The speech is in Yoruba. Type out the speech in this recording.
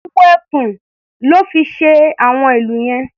Awọ ẹkùn lọ́ fi ṣe àwọn ìlù yẹn.